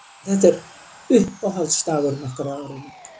Þetta er uppáhaldsdagurinn okkar á árinu